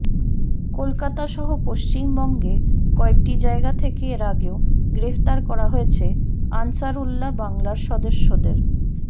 কলকাতা সহ পশ্চিমবঙ্গে কয়েকটি জায়গা থেকে এর আগেও গ্রেফতার করা হয়েছে আনসারউল্লাহ বাংলার সদস্যদের